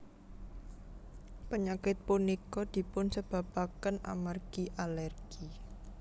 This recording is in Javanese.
Penyakit punika dipun sebabaken amargi alergi